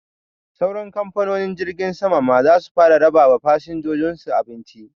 Sauran kamfanonin jirgin sama ma zasu fara raba wa fasinjojin su abinci